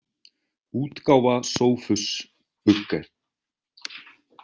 útgáfa Sophus Bugge.